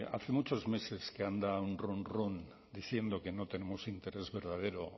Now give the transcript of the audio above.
hace muchos meses que anda un runrún diciendo que no tenemos interés verdadero